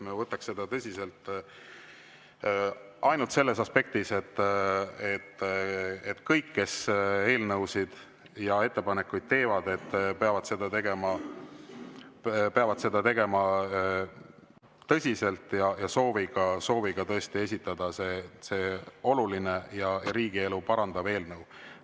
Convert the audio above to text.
Ma võtaks seda tõsiselt ainult selles aspektis, et kõik, kes eelnõusid ja ettepanekuid teevad, peavad seda tegema tõsiselt ja sooviga esitada see oluline ja riigielu parandav eelnõu.